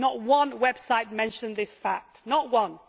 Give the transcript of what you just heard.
Not one website mentioned this fact not one.